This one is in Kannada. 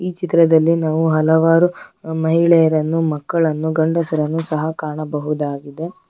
ಈ ಚಿತ್ರದಲ್ಲಿ ನಾವು ಹಲವಾರು ಮಹಿಳೆಯರನ್ನು ಮಕ್ಕಳನ್ನು ಗಂಡಸರನ್ನು ಸಹ ಕಾಣಬಹುದಾಗಿದೆ.